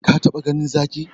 Ka taba ganin Zaki?